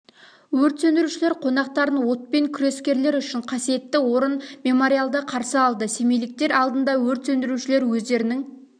өрт сөндірушілер қонақтарын отпен күрескерлер үшін қасиетті орын мемориалда қарсы алды семейліктер алдында өрт сөндірушілер өздерінің